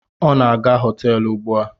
O na-aga hoteelu ugbua